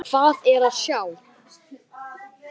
Hvað er að sjá